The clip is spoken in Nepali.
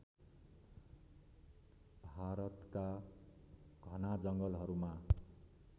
भारतका घना जङ्गलहरूमा